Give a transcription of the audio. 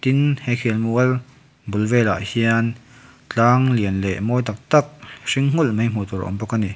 tin he khel mual bul velah hian tlang lian leh mawi tak tak hring hmulh mai hmuh tur awm bawk a ni.